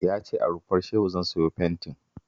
Ya ce a Rumfar Shehu zan siyo fentin